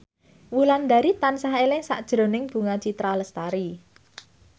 Wulandari tansah eling sakjroning Bunga Citra Lestari